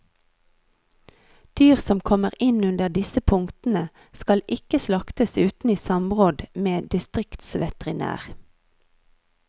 Dyr som kommer inn under disse punktene, skal ikke slaktes uten i samråd med distriktsveterinær.